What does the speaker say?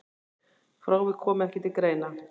Frávik komi ekki til greina.